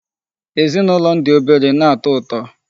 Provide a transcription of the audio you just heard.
Ezinụlọ m dị obere na-atọ ụtọ.